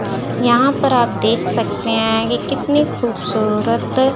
यहां पर आप देख सकते हैं ये कितनी खूबसूरत--